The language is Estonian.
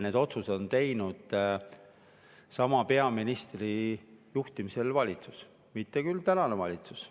Need otsused on teinud sama peaministri juhtud valitsus, mitte küll tänane valitsus.